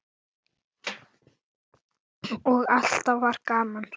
Og alltaf var gaman.